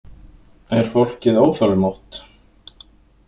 Er fólkið óþolinmótt?